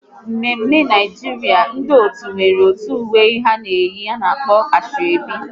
N'mme mme Naijiria, ndị otu nwere otu uwe ha na eyi, a na-akpọ Asoebi